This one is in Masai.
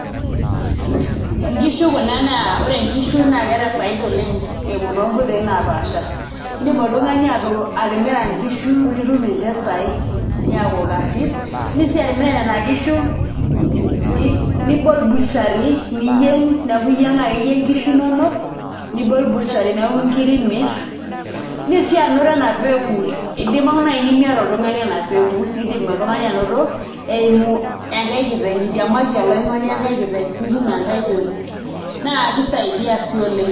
Nkishu kuna naa ore nkishu naa keeta faida oleng' eimu toonkoitoi naapaasha, iindim oltung'ani atimira nkishu nitum mpisaai niaku karsis iindim sii atimira nena kishu nibol butchery niyieng' neeku iyieng' ake iyie nkishu inonok nibol butchery neeku nkiri imirr, iindim sii anoto ena peku idimayu naai pee miata oltung'ani ena peku niidim oltung'ani anoto eimu enkai kiteng' itiamaki oloing'oni enkai kiteng' nitum enkai peku, naa kisaidia sii oleng'.